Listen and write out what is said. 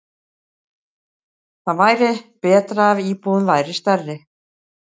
Það væri betra ef íbúðin væri stærri.